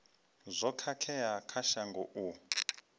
zwo khakhea kha shango u